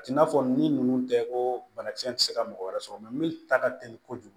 A t'i n'a fɔ ni ninnu tɛ ko banakisɛ tɛ se ka mɔgɔ wɛrɛ sɔrɔ mɛ min ta ka teli kojugu